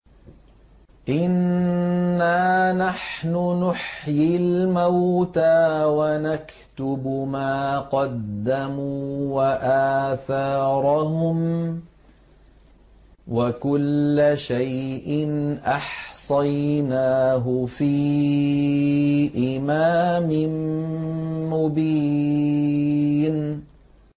إِنَّا نَحْنُ نُحْيِي الْمَوْتَىٰ وَنَكْتُبُ مَا قَدَّمُوا وَآثَارَهُمْ ۚ وَكُلَّ شَيْءٍ أَحْصَيْنَاهُ فِي إِمَامٍ مُّبِينٍ